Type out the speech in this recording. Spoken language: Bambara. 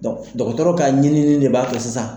dɔgɔtɔrɔ ka ɲininin de b'a to sisan.